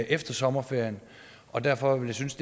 efter sommerferien derfor vil jeg synes